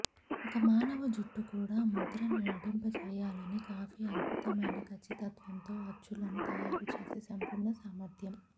ఒక మానవ జుట్టు కూడా ముద్రణ నటింపచేయాలని కాపీ అద్భుతమైన ఖచ్చితత్వంతో అచ్చులను తయారు చేసే సంపూర్ణ సామర్థ్యం